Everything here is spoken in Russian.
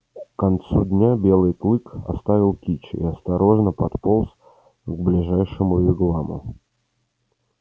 к концу дня белый клык оставил кичи и осторожно подполз к ближайшему вигваму